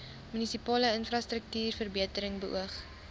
munisipale infrastruktuurverbetering beoog